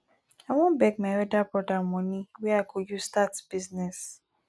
i wan beg my elder brother for money wey i go use start business